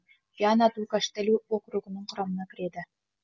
виана ду каштелу округінің құрамына кіреді